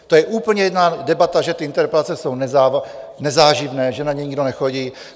To je úplně jiná debata, že ty interpelace jsou nezáživné, že na ně nikdo nechodí.